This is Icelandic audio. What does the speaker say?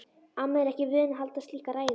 Amma er ekki vön að halda slíka ræðu.